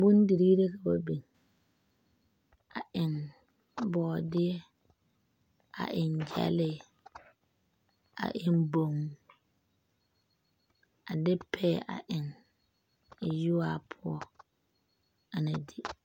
Bondirii la ka ba biŋ a eŋ bɔɔdeɛ a eŋ gyɛlee a eŋ boŋ a de payɛ a eŋ yuwaa poɔ a na di.